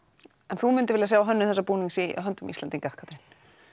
en þú myndir vilja sjá hönnuð þessa búnings í höndum Íslendinga Katrín